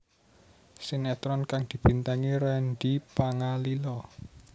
Sinetron kang dibintangi Randy Pangalila